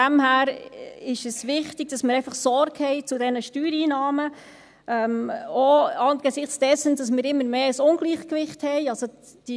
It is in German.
Daher ist es wichtig, dass wir Sorge tragen zu diesen Steuereinnahmen, auch angesichts dessen, dass wir ein immer grösseres Ungleichgewicht haben.